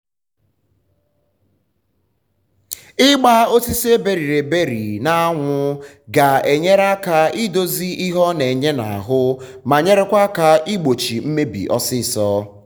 ịgba osisi eberiri eberi na eberi na anwụ ga enyere aka idozi ihe ọ na enye na arụ ma nyerekwa aka igbochị mmebi ọsịsọ